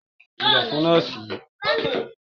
Kí lọ̀ fún nọ́ọ̀sì yìí!